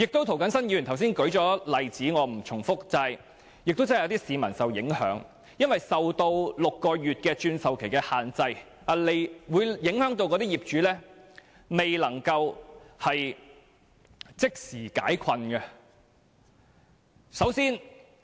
涂謹申議員剛才已經列舉例子，我不再重複，而且亦有市民受到影響，因為6個月的換樓期限制影響業主，令他們未能即時解困。